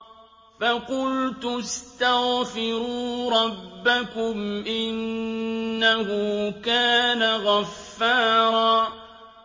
فَقُلْتُ اسْتَغْفِرُوا رَبَّكُمْ إِنَّهُ كَانَ غَفَّارًا